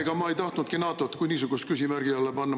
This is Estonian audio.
Ega ma ei tahtnudki NATO-t kui niisugust küsimärgi alla panna.